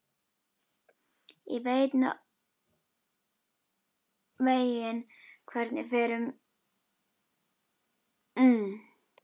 Ég veit nokkurn veginn hvernig fer um Jón.